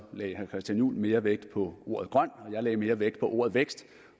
herre christian juhl mere vægt på ordet grøn og jeg lagde mere vægt på ordet vækst